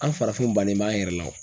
An farafinw bannen b'an yɛrɛ la o.